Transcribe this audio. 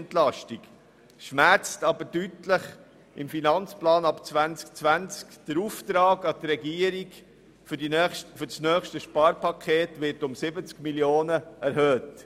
Im Finanzplan ab 2020 schmerzt dieser aber deutlich und erhöht den Auftrag an die Regierung für das nächste Sparpaket um 70 Mio. Franken.